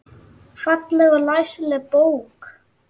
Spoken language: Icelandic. Falleg og læsileg bók.